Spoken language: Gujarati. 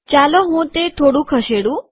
ચાલો હું તે થોડું ખસેડું